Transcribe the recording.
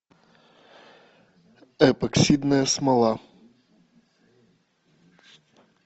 эпоксидная смола